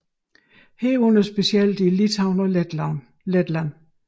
Herunder specielt i Litauen og Letland